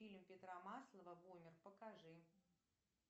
фильм петра маслова бумер покажи